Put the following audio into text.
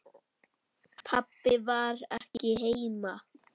Pabbi var ekki heima.